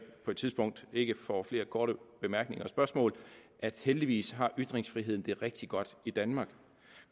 på et tidspunkt ikke får flere korte bemærkninger og spørgsmål at heldigvis har ytringsfriheden det rigtig godt i danmark